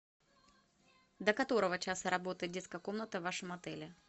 до которого часа работает детская комната в вашем отеле